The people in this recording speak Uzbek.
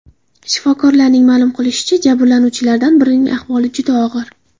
Shifokorlarning ma’lum qilishicha, jabrlanuvchilardan birining ahvoli juda og‘ir.